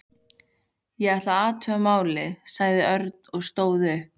Ég ætla að athuga málið, sagði Örn og stóð upp.